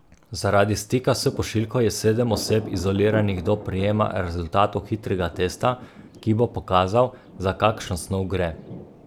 Zaradi stika s pošiljko je sedem oseb izoliranih do prejema rezultatov hitrega testa, ki bo pokazal, za kakšno snov gre.